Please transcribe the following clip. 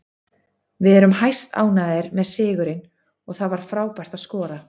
Við erum hæstánægðir með sigurinn og það var frábært að skora.